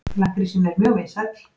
Lakkrísinn er mjög vinsæll.